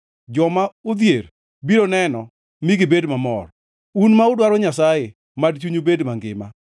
Joma odhier biro neno mi gibed mamor, un ma udwaro Nyasaye mad chunyu bed mangima!